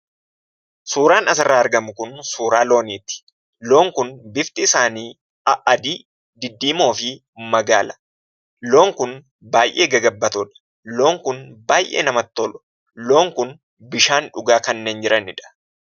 Suuraan asirraa argamu kun suuraa looniiti. Loon kun bifti isaanii a'adii, diddiimoo fi magaala. Loon kun baay'ee gagabbatoodha. Loon kun baay'ee namatti tolu. Loon kun bishaan dhugaa kannneen jiranidha.